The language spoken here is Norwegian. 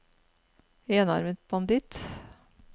enarmet banditt